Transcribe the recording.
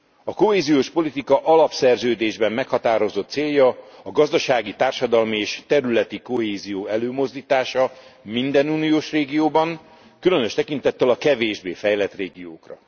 A kohéziós politika alapszerződésben meghatározott célja a gazdasági, társadalmi és területi kohézió előmozdítása minden uniós régióban, különös tekintettel a kevésbé fejlett régiókra.